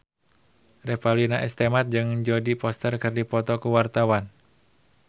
Revalina S. Temat jeung Jodie Foster keur dipoto ku wartawan